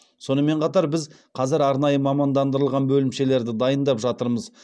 сонымен қатар біз қазір арнайы мамандандырылған бөлімшелерді дайындап жатырмыз